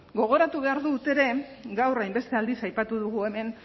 gogoratu behar dut ere gaur hainbeste aldiz aipatu dugu hemen